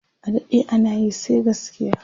adaɗe anayi sai gaskiya!